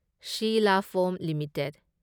ꯁꯤꯂꯥ ꯐꯣꯝ ꯂꯤꯃꯤꯇꯦꯗ